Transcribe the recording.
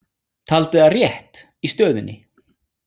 Taldi það rétt í stöðunni.